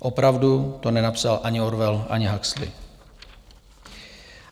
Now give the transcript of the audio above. Opravdu to nenapsal ani Orwell, ani Huxley.